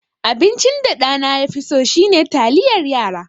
Abincin da ɗana ya fi so shine taliyar yara.